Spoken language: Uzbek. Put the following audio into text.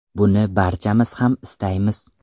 Buni barchamiz ham istaymiz.